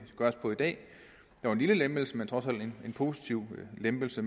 på i dag nok en lille lempelse men trods alt en positiv lempelse